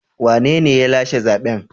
Wanene ya lashe zaben?